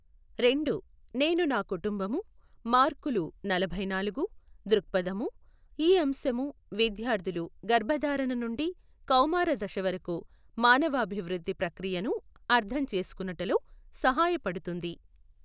రెండు, నేను నాకుటుంబము, మార్కులు నలభై నాలుగు, దృక్పధము, ఈ అంశము విద్యార్ధులు గర్భధారణ నుండి కౌమార దశవరకు మానవాభివృద్ధి ప్రక్రియను అర్ధము చేసుకొనుటలో సహాయపడుతుంది.